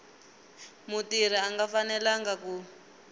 mutirhi a nga fanelanga ku